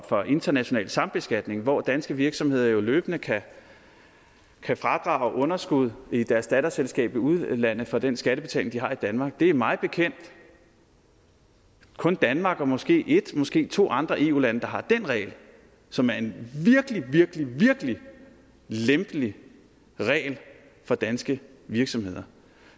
for international sambeskatning hvor danske virksomheder jo løbende kan kan fradrage underskud i deres datterselskaber i udlandet for den skattebetaling de har i danmark det er mig bekendt kun danmark og måske et måske to andre eu lande der har den regel som er en virkelig virkelig virkelig lempelig regel for danske virksomheder